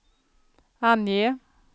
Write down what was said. ange